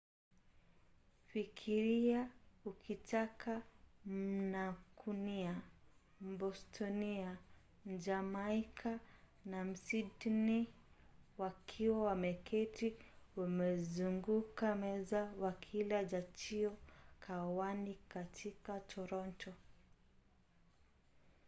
fikiria ukitaka mmankunia mbostonia mjamaika na msydney wakiwa wameketi wamezunguka meza wakila chajio mkahawani katika toronto